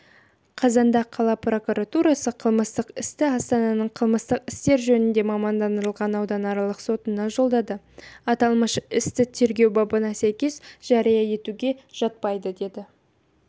қазанда қала прокуратурасы қылмыстық істі астананың қылмыстық істер жөніндегі мамандандырылған ауданаралық сотына жолдады аталмыш істі тергеу бабына сәйкес жария етуге жатпайды деді